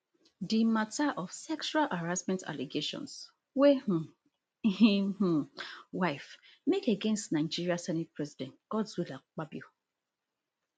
di mata of sexual harassment allegations wey um im um wife make against nigeria senate president godswill akpabio